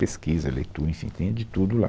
Pesquisa, leitura, enfim, tem de tudo lá.